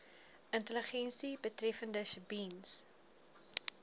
intelligensie betreffende sjebiens